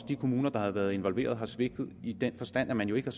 de kommuner der har været involveret har svigtet i den forstand at man jo ikke